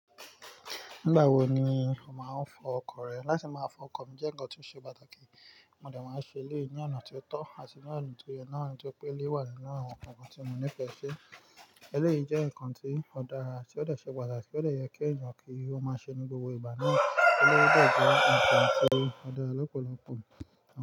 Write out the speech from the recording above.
Nígbà wo ni o máa ń fọ ọkọ̀ rẹ? Láti máa fọ ọkọ̀ mi jẹ́ ǹkan tó ṣe pàtàkì, mo dà máa ń ṣe léyìí ní ọ̀nà tó tọ́ àti ní ọ̀nà tó yẹ. Ní àwọn tí ó pé lé wà nínú àwọn ǹkan kan tí mo nífẹ̀ẹ́ ṣi. Eléyìí jẹ́ ǹkan tí ó dára, tí ó lè ṣe pàtàkì, ó lè yẹ kí ẹ̀yàn kí ó máa ṣe ní gbogbo ìgbà náà. Ó dẹ jẹ ǹkan tí ó dára lọ́pọ̀lọpọ̀